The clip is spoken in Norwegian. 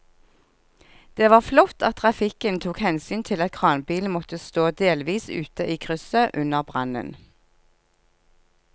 Det var flott at trafikken tok hensyn til at kranbilen måtte stå delvis ute i krysset under brannen.